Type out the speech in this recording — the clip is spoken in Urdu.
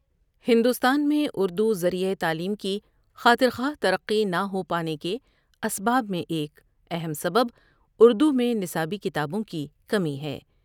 ہندوستان مین اُردو ذریعہ تعلیم کی خاطرخواہ ترقی نہ ہو پانے کے اسباب میں ایک اہم سبب اُردو میں نصابی کتابوں کی کمی ہے ۔